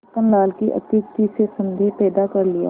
छक्कन लाल की अत्युक्ति से संदेह पैदा कर लिया